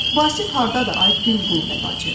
Vasif hardadır ay Dilrubə bacı?